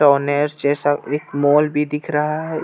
honest जैसा एक mall भी दिख रहा हे यहाँ--